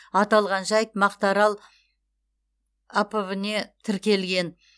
аталған жайт мақтаарал апб не тіркелген